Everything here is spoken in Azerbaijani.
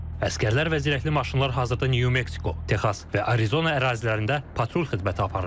Əsgərlər və zirehli maşınlar hazırda New Mexico, Texas və Arizona ərazilərində patrul xidməti aparır.